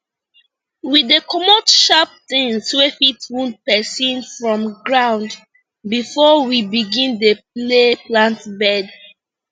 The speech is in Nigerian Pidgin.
we dey comot sharp things wey fit wound person from ground before we begin dey lay plant bed